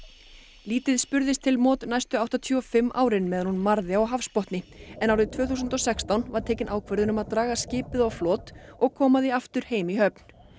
lítið spurðist til næstu áttatíu og fimm árin meðan hún marði á hafsbotni en árið tvö þúsund og sextán var tekin ákvörðun um að draga skipið á flot og koma því aftur heim í höfn